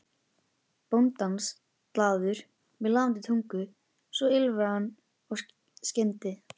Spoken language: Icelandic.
bóndans, glaður, með lafandi tungu, svo ýlfraði hann skyndi